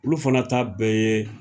Olu fana ta bɛɛ ye